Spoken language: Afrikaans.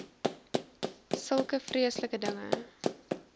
sulke vreeslike dinge